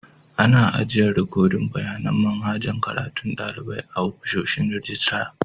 Ana ajiyan rikodin bayanin manhajar karatun dalibai a'ofishin rijistira.